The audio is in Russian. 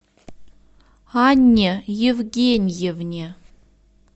анне евгеньевне